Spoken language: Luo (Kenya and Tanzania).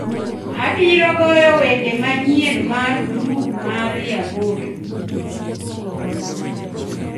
Abiro goyo wende manyien mar grup mar Yamoto